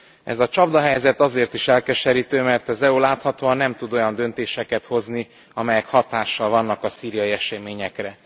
Ez a csapdahelyzet azért is elkeserítő, mert az EU láthatóan nem tud olyan döntéseket hozni, amelyek hatással vannak a szíriai eseményekre.